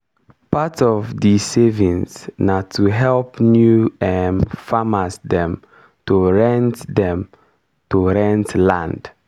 everi year we dey carry part of di savings take do training on on how to manage wahala.